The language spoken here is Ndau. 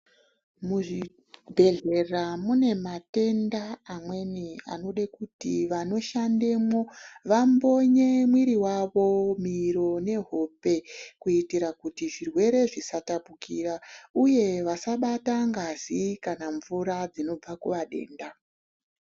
Muzvibhedhlera mune matenda amweni anode kuti vanoshandemwo vambonyeya mwiri wavo miro nehope kuitira kuti zvirwere zvisatapukira uye vasabata ngazi kana mvura dzinobva kuvatenda.